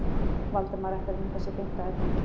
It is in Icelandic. Valdimar ætti að vinda sér beint að efninu.